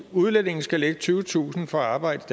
udlændinge skal lægge tyvetusind for at arbejde